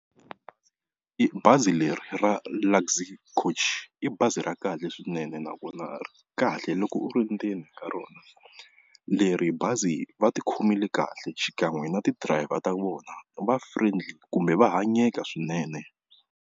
I bazi leri ra Luxy Coach i bazi ra kahle swinene, nakona ri kahle loko u ri endzeni ka rona leri bazi va tikhomile kahle xikan'we na ti-driver ta vona va friendly kumbe va hanyeka swinene.